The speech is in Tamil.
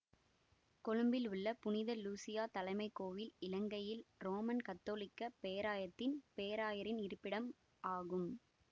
கொழும்பில் உள்ள புனித லூசியா தலைமைக் கோயில் இலங்கையின் ரோமன் கத்தோலிக்க பேராயத்தின் பேராயரின் இருப்பிடம் ஆகும்